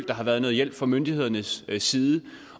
der har været nogen hjælp fra myndighedernes side